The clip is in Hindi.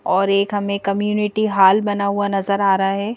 और एक हमें कम्युनिटी हाल बना हुआ नजर आ रहा है।